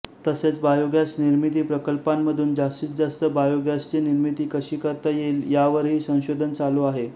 तसेच बायोगॅस निर्मिती प्रकल्पांमधून जास्तीजास्त बायोगॅसची निर्मिती कशी करता येईल यावरही संशोधन चालू आहे